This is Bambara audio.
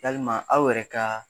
Yalima aw yɛrɛ ka